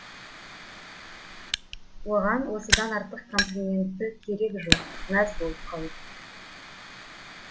оған осыдан артық комплименті керегі жоқ мәз боп қалады